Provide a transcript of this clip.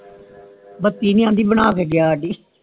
ਬੱਤੀ ਨੀ ਆਂਦੀ ਬਣਾ ਕੇ ਗਯਾ ਹਾੜੀ